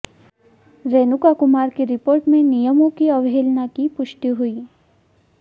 रेणुका कुमार की रिपोर्ट में नियमों की अवहेलना की पुष्टि हुई